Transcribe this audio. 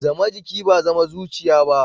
Zama jiki ba zama zuciya ba.